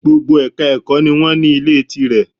Gbogbo Èka ẹ̀kọ́ ni wọ́n ní Ilé tí rẹ̀